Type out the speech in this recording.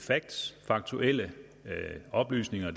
facts faktuelle oplysninger og